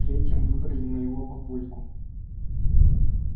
а третьим выбрали моего папульку